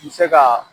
N bɛ se ka